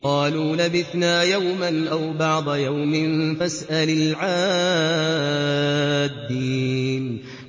قَالُوا لَبِثْنَا يَوْمًا أَوْ بَعْضَ يَوْمٍ فَاسْأَلِ الْعَادِّينَ